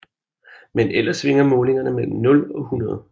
Men ellers svinger målingerne mellem nul og 100